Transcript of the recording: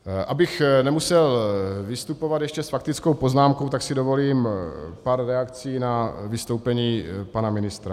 Abych nemusel vystupovat ještě s faktickou poznámkou, tak si dovolím pár reakcí na vystoupení pana ministra.